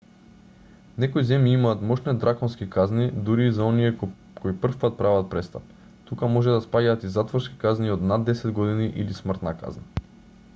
некои земји имаат мошне драконски казни дури и за оние кои првпат прават престап тука може да спаѓаат и затворски казни од над 10 години или смртна казна